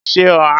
mo se oha.